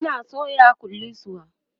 Ina soya kullisuwa